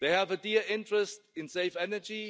They have a clear interest in safe energy.